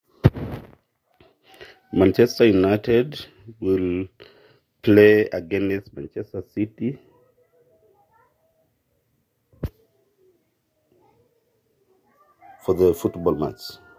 Man United napuo atumo o Man City eshindanakino enkikombe enkiguran.